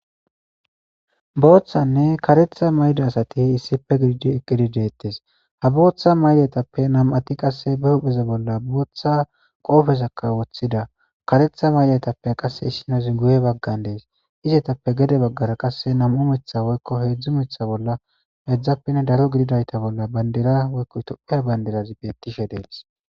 Booththanne karetha mayda asati issife gididi eqqidi deettes ha booththa mayletappe nam7ati qasse be hupheza bolla booththa qoofezakka woththida karetha mayletappe qasse issinozi guye baggan dees izetappe gede baggara qasse nam7u mitha woykko heedzdzu mitha bolla edzdzappenne daro gididayta bolla bandera woykko itophe banderazi bettishe dees